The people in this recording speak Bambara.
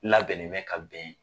Labɛnnen bɛ ka bɛn